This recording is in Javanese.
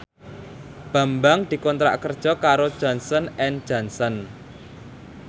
Bambang dikontrak kerja karo Johnson and Johnson